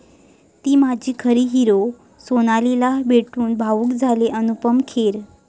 ती माझी खरी हीरो', सोनालीला भेटून भावूक झाले अनुपम खेर